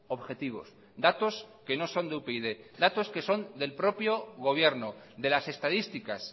objetivos datos que no son de upyd datos que son del propio gobierno de las estadísticas